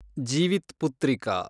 Jivitputrika